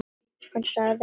Hann sagði ekki neitt.